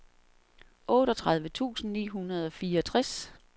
otteogtredive tusind ni hundrede og fireogtres